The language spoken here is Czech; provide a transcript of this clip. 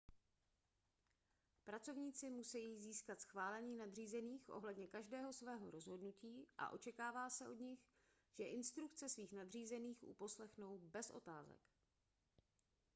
pracovníci musejí získat schválení nadřízených ohledně každého svého rozhodnutí a očekává se od nich že instrukce svých nadřízených uposlechnou bez otázek